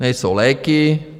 Nejsou léky.